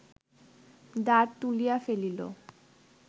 দাঁড় তুলিয়া ফেলিল